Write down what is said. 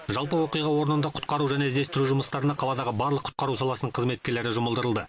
жалпы оқиға орнында құтқару және іздестіру жұмыстарына қаладағы барлық құтқару саласының қызметкерлері жұмылдырылды